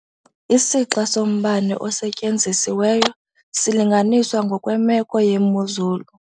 Isixa sombane osetyenzisiweyo silinganiswa ngokwemeko yemozulu.